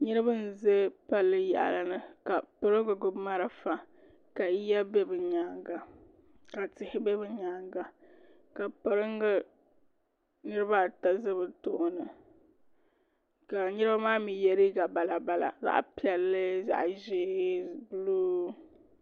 niriba n-ʒe palli yaɣili ni ka piringa marafa ka yiya be bɛ nyaaga ka tihi be bɛ nyaaga ka piringa niriba ata za bɛ tooni ka niriba maa ye liiga balabala zaɣ' piɛlli zaɣ' ʒee buluu.